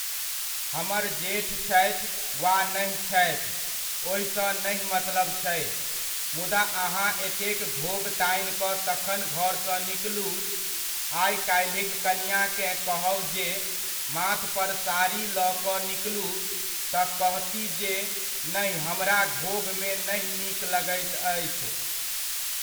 हमर जेठ छथि वा नहि छथि ओहिसँ नहि मतलब छै, मुदा अहाँ एतेक घोघ तानि कऽ तखन घरसँ निकलू, आइ काल्हिक कनिआँकेँ कहब जे माथ पर साड़ी लऽ कऽ निकलू तऽ कहतीह जे नहि हमरा घोघमे नहि नीक लगैत अछि।